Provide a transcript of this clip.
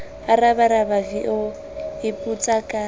a rabaraba v o ipotsaka